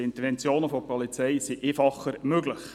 Die Interventionen durch die Polizei sind einfacher möglich.